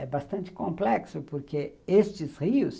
É bastante complexo porque estes rios